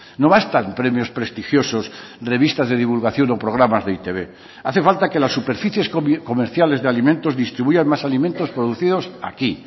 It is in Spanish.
no bastan premios prestigiosos revistas de divulgación o programas de e i te be hace falta que las superficies comerciales de alimentos distribuyan más alimentos producidos aquí